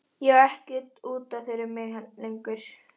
Þær nætur er pabbi gullrautt ljón sem engu eirir og